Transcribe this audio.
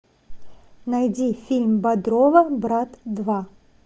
найди фильм бодрова брат два